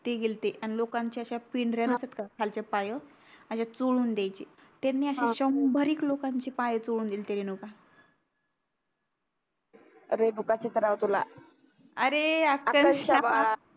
ते गेलत्तेअन लोकांच्या अश्या पिंढऱ्या नसतात का खालच्या पायं अशा चोळून द्यायचे त्यांनी अशीच शंभर एक लोकांची पाये चोळून दिल्ती रेणुका काच येत राव तुला अरे ए आकांक्षा